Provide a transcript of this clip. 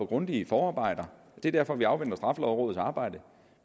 grundige forarbejder det er derfor vi afventer straffelovrådets arbejde